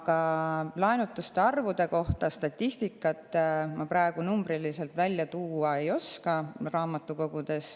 Aga laenutuste arvu kohta ma praegu statistikat välja tuua ei oska.